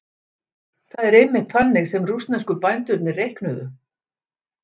Það er einmitt þannig sem rússnesku bændurnir reiknuðu.